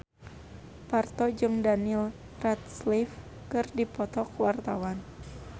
Parto jeung Daniel Radcliffe keur dipoto ku wartawan